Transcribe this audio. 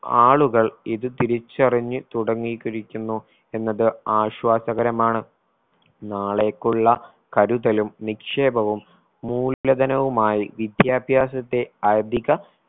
ആളുകൾ ഇത് തിരിച്ചറിഞ്ഞ് തുടങ്ങികരിക്കുന്നു എന്നത് ആശ്വാസകരമാണ്. നാളേക്കുള്ള കരുതലും നിക്ഷേപവും മൂല്യധനവുമായി വിദ്യാഭ്യാസത്തെ അധിക